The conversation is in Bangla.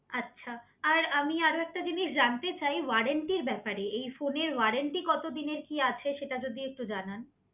আচ্ছা আমি আরো একটা জিনিস জানতে চাই ওয়ারেন্টির ব্যাপারে? এই ফোনের ওয়ারেন্টি কত দিনের কি আছে? সেটা যদি একটু জানান